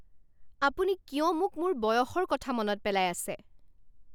আপুনি কিয় মোক মোৰ বয়সৰ কথা মনত পেলাই আছে?